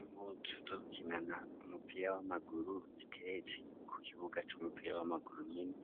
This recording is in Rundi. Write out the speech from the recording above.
Imuzi uzokinana umupira w'amaguru zitereze ku kibuga c'umupira w'amaguru nyene